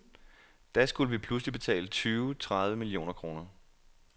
Da skulle vi pludselig betale tyve tredive millioner kroner.